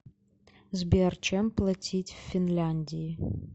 сбер чем платить в финляндии